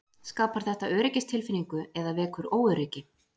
Skapar þetta öryggistilfinningu eða vekur óöryggi?